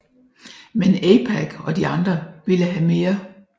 Men AIPAC og de andre ville have mere